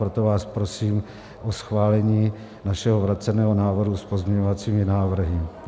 Proto vás prosím o schválení našeho vráceného návrhu s pozměňovacími návrhy.